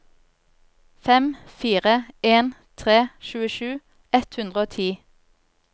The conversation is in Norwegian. fem fire en tre tjuesju ett hundre og ti